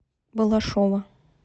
балашова